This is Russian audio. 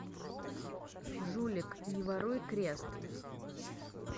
жулик не воруй крест